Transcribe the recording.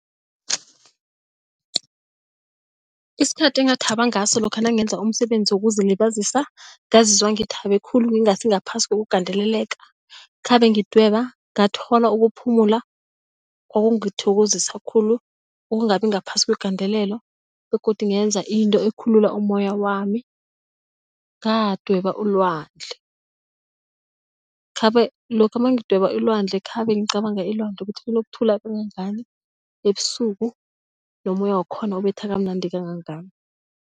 Isikhathi engathaba ngaso lokha nangenza umsebenzi wokuzilibazisa ngazizwa ngithabe khulu ngingasingaphasi kokugandeleleka khabe ngidweba ngathola ukuphumula kwakungithokozisa khulu ukungabi ngaphasi kwegandelelo begodu ngenza into ekhulula umoya wami ngadweba ulwandle. Khabe lokha mangidweba ilwandle khabe ngicabanga ilwandle ukuthi linokuthula kangangani ebusuku nomoya wakhona ubetha kamnandi kangangani.